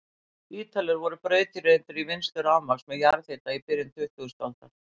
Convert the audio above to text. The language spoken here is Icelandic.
Ítalir voru brautryðjendur í vinnslu rafmagns með jarðhita í byrjun tuttugustu aldar.